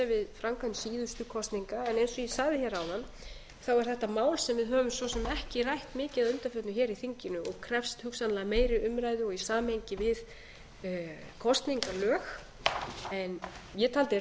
framkvæmd síðustu kosninga en eins og ég sagði hér áðan er þetta mál sem við höfum svo sem ekki rætt mikið að undanförnu hér í þinginu og krefst hugsanlega meiri umræðu og í samhengi við kosningalög en ég taldi